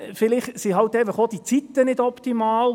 – Vielleicht sind einfach auch die Zeiten nicht optimal.